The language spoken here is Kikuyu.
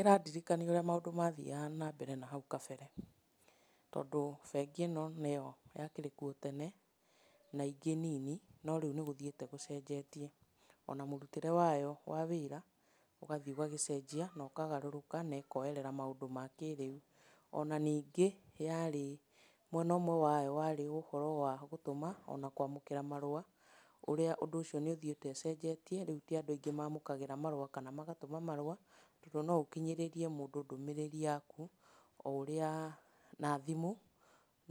Ĩrandirikania ũrĩa maũndũ mathiaga na mbere na hau kabere, tondũ bengi ĩno nĩyo yakĩrĩ kuo tene, na ingĩ nini, no rĩu nĩgũtiĩte gũcenjetie. Ona mũrutĩre wayo wa wĩra, ũgathiĩ ũgagĩcenjia na ũkagarũrũka na ĩkoerera maũndũ ma kĩrĩu. Ona ningĩ yarĩ, mwena ũmwe wayo warĩ ũhoro wa gũtũma, ona kũamũkĩra marũa, ũrĩa ũndũ ũcio nĩũthiĩte ũcenjetie, rĩu ti andũ aingĩ mamũkagĩra marũa kana magatũma marũa, na no ũkinyĩrĩrie mũndũ ndũmĩrĩri yaku o ũrĩa, na thimũ